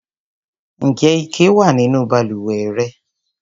Ǹjẹ́ ike wà nínú balùwẹ̀ rẹ?